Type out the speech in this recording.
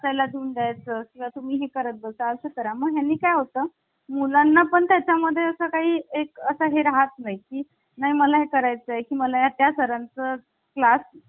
आपण भारत सरकारचा कायदा एकोणविष पस्तीस मधून लोकसेवा आयोग घेतलेला आहे. त्याचबरोबर आणीबाणीची तरतूद त्याचबरोबर न्यायव्यवस्था आणि इथे बघा न्यायव्यवस्था आपण कोणाकडून घेतली भारत सरकारचा कायदा एकोणविशे पस्तीस